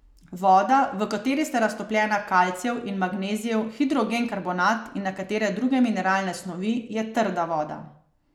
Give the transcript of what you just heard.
Voda, v kateri sta raztopljena kalcijev in magnezijev hidrogenkarbonat in nekatere druge mineralne snovi, je trda voda.